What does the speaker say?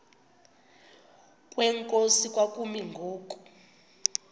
kwenkosi kwakumi ngoku